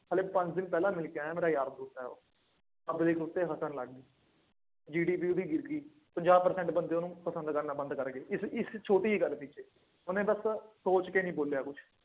ਹਾਲੇ ਪੰਜ ਦਿਨ ਪਹਿਲਾਂ ਮਿਲਕੇ ਆਇਆ ਮੇਰਾ ਯਾਰ ਦੋਸਤ ਹੈ ਉਹ, ਆਪਣੇ GDP ਉਹਦੀ ਗਿਰ ਗਈ। ਪੰਜਾਹ percent ਬੰਦੇ ਉਹਨੂੰ ਪਸੰਦ ਕਰਨਾ ਬੰਦ ਕਰ ਗਏ ਇੱਕ ਛੋਟੀ ਜਿਹੀ ਗੱਲ ਪਿੱਛੇ, ਉਹਨੇ ਬੱਸ ਸੋਚ ਕੇ ਨਹੀਂ ਬੋਲਿਆ ਕੁੱਛ।